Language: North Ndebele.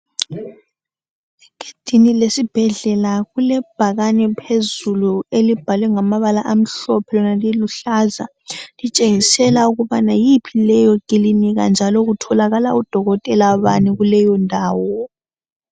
egedini lesibhedlela kulebhakane phezulu elibhalwe ngamabala amhlophe lona liluhlaza litshengisela ukuthi yiphi leyo kilinika njalo kutholakal udokotela bani kuleyo ndawo